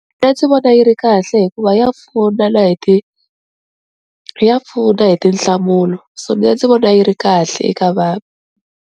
Mina ndzi vona yi ri kahle hikuva ya pfuna na hi ti ya pfuna hi tinhlamulo, so mina ndzi vona yi ri kahle eka vanhu.